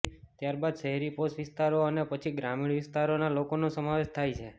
ત્યારબાદ શહેરી પોશ વિસ્તારો અને પછી ગ્રામીણ વિસ્તારોના લોકોનો સમાવેશ થાય છે